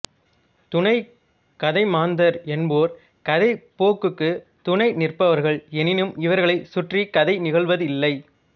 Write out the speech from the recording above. துணைக் கதைமாந்தர் என்போர் கதைப் போக்குக்குத் துணை நிற்பவர்கள் எனினும் இவர்களைச் சுற்றிக் கதை நிகழ்வதில்லை